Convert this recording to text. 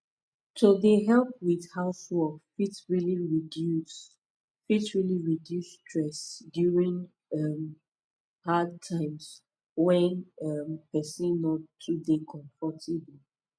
to dey help with housework fit really reduce fit really reduce stress during um hard times when um person no too dey comfortable